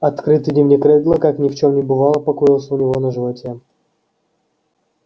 открытый дневник реддла как ни в чём не бывало покоился у него на животе